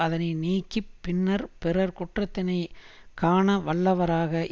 அதனை நீக்கி பின்னர் பிறர் குற்றத்தினை காணவல்லவராக